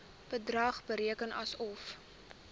bedrag bereken asof